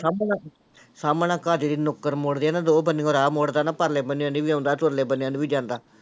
ਸਾਹਮਣਾ ਘਰ ਜਿਹੜੀ ਨੁੱਕਰ ਮੁੜਦੀ ਆ ਨਾ ਤੇ ਉਹ ਬੰਨ੍ਹਿਓ ਰਾਹ ਮੁੜਦਾ ਨਾ ਪਰਲੇ ਬੰਨ੍ਹਿਓ ਦੀ ਵੀ ਆਉਂਦਾ ਤੇ ਉਰਲੇ ਬੰਨ੍ਹਿਆਂ ਨੂੰ ਵੀ ਜਾਂਦਾ।